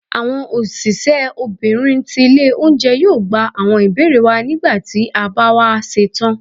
awọn osìsé obinrín tí ilé oúnjẹ, yóò gbá awọn ibere wa, nígbàtí ti a ba wa setán.